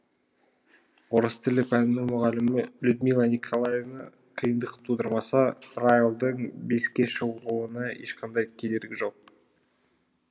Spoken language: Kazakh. орыс тілі пәнінің мұғалімі людмила николаевна қиындық тудырмаса райлдың беске шығуына ешқандай кедергі жоқ